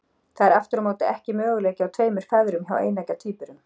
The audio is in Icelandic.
Það er aftur á móti ekki möguleiki á tveimur feðrum hjá eineggja tvíburum.